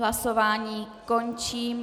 Hlasování končím.